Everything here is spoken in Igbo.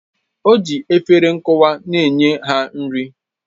O ji efere nkwụwa na-enye ha nri